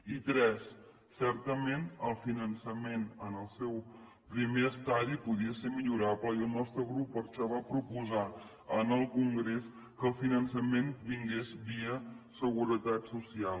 i tres certament el finançament en el seu primer estadi podia ser millorable i el nostre grup per això va proposar en el congrés que el finançament vingués via seguretat social